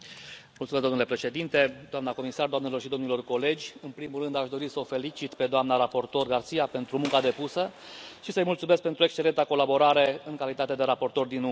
Domnule președinte, doamna comisar, doamnelor și domnilor colegi, în primul rând, aș dori să o felicit pe doamna raportor García pentru munca depusă și să i mulțumesc pentru excelenta colaborare în calitate de raportor din umbră.